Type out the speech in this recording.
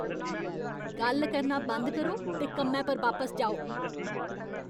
गल्ल करना बंद करो ते कम्मै पर बापस जाओ!